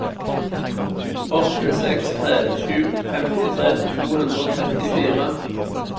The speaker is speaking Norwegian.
åtte seks tre sju femtitre to hundre og trettifire